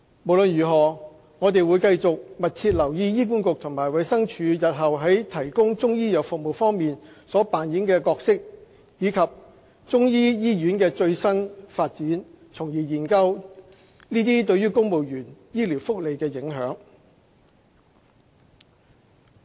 無論如何，我們會繼續密切留意醫管局及衞生署日後在提供中醫藥服務方面所扮演的角色，以及中醫醫院的最新發展，從而研究其對公務員醫療福利的影響。